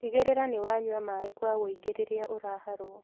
Tigagĩrĩra nĩ wanyua maĩ kwa wũingĩ rĩrĩa ũraharwo